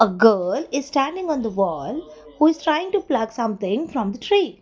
a girl is standing on the wall who is trying to plug something from the tree.